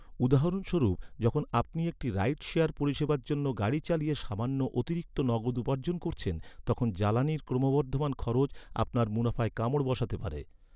উদাহরণস্বরূপ, যখন আপনি একটি রাইড শেয়ার পরিষেবার জন্য গাড়ি চালিয়ে সামান্য অতিরিক্ত নগদ উপার্জন করছেন, তখন জ্বালানির ক্রমবর্ধমান খরচ আপনার মুনাফায় কামড় বসাতে পারে।